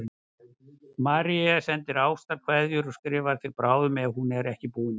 Marie sendir ástarkveðjur og skrifar þér bráðum ef hún er ekki búin að því.